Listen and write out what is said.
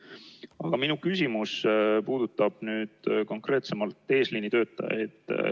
Aga minu küsimus puudutab konkreetsemalt eesliinitöötajaid.